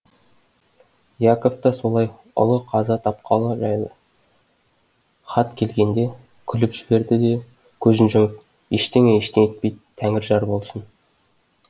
яков та солай ұлы қаза тапқалы жайлы хат келгенде күліп жіберді де көзін жұмып ештеңе ештеңе етпейді тәңір жар болсын